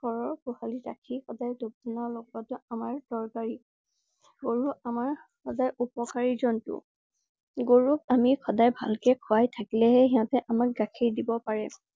ঘৰৰ গোহালিত ৰাখি সদায় ঢুপ ধূনা লগুৱাটো আমাৰ দৰকাৰী। গৰু আমাৰ সদায় উপকাৰী জন্তু। গৰুক আমি সদায় ভাল কৈ খুৱাই থাকিলে হে সিহঁতে আমাক গাখীৰ দিব পাৰে।